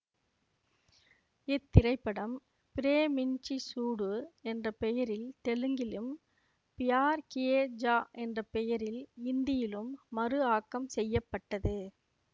இத்திரைப்படம் பிரேமின்ச்சி சூடு என்ற பெயரில் தெலுங்கிலும் ப்யார் கியே ஜா என்ற பெயரில் இந்தியிலும் மறு ஆக்கம் செய்ய பட்டது